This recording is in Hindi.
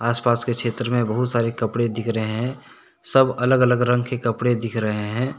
आसपास के क्षेत्र में बहुत सारे कपड़े दिख रहे हैं। सब अलग-अलग रंग के कपड़े दिख रहे हैं।